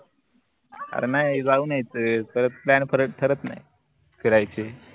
अरे नाई जाऊन यायचं परत plan परत ठरत नाई फिरायचे